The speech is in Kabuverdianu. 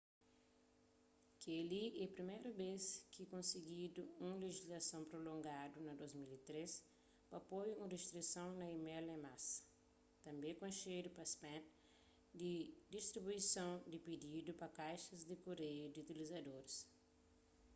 kel-li é priméru bês ki konsigidu un lejislason promulgadu na 2003 pa poi un ristrison na email en masa tanbê konxedu pa spam di distribuison sen pididu pa kaixas di kureiu di utlizadoris